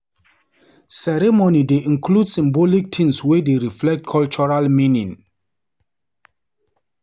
Ceremony dey include symbolic things wey dey reflect cultural meaning.